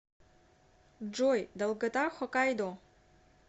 джой долгота хокайдо